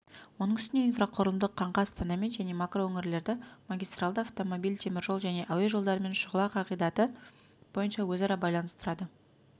оның үстіне инфрақұрылымдық қаңқа астанамен және макроөңірлерді магистралды автомобиль теміржол және әуе жолдарымен шұғыла қағидаты бойынша өзара байланыстырады